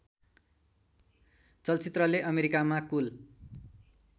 चलचित्रले अमेरिकामा कुल